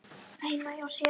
heima hjá sér.